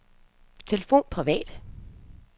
telefon privat